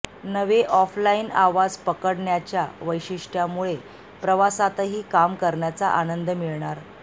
नवे ऑफलाइन आवाज पकडण्याच्या वैशिष्ट्यामुळे प्रवासातही काम करण्याचा आनंद मिळणार